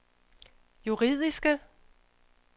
juridiske